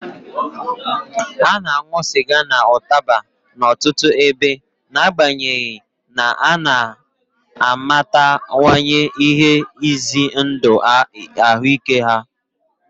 A na-aṅụ sịga na ụtaba n'ọtụtụ ebe, n'agbanyeghị na ha na-amatawanye ihe ize ndụ ahụike ha.